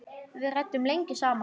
Við ræddum lengi saman.